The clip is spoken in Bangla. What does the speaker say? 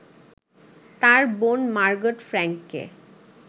তাঁর বোন মার্গট ফ্র্যাংককে